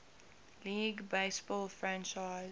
league baseball franchise